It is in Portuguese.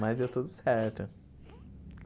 Mas deu tudo certo.